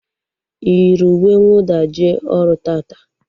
Ị yiri uwe nwụda jee ọrụ taata?